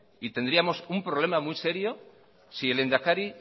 y tendríamos un problema muy serio si el lehendakari